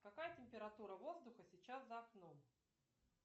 какая температура воздуха сейчас за окном